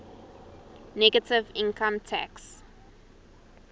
negative income tax